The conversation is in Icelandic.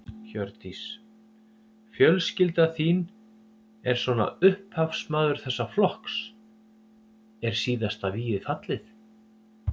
Hjördís: Fjölskylda þín er svona upphafsmaður þessa flokks, er síðasta vígið fallið?